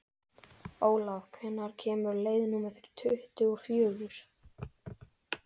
Olav, hvenær kemur leið númer tuttugu og fjögur?